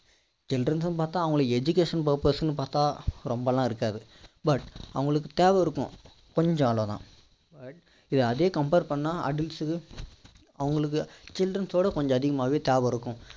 childrens னு பார்த்தா அவங்களுக்கு education purpose ன்னு பார்த்தா ரொம்பலாம் இருக்காது but அவங்களுக்கு தேவை இருக்கும் கொஞ்சம் அவ்வளோதான் இது அதே compare பண்ணா adults க்கு அவங்களுக்கு childrens ஓட கொஞ்சம் அதிகமாவே தேவை இருக்கும்